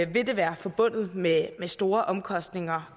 vil det være forbundet med store omkostninger